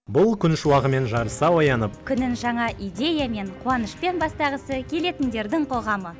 бұл күн шуағымен жарыса оянып күнін жаңа идеямен қуанышпен бастағысы келетіндердің қоғамы